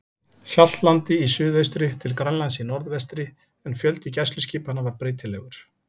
Hjaltlandi í suðaustri til Grænlands í norðvestri, en fjöldi gæsluskipanna var breytilegur.